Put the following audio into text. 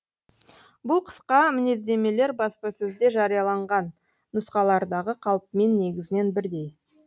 бұл қысқа мінездемелер баспасөзде жарияланған нұсқалардағы қалпымен негізінен бірдей